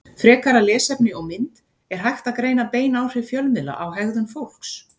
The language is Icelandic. Frekara lesefni og mynd Er hægt að greina bein áhrif fjölmiðla á hegðun fólks?